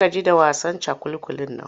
Na gaji da wasan cakulkulin nan.